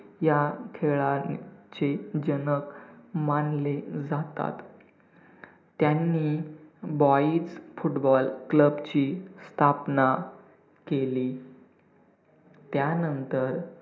या खेळांचे जनक मानले जातात. त्यांनी football ची स्थापना केली. त्यानंतर